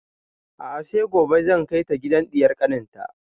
A'a sai gobe zan kai ta gidan ɗiyar kanin ta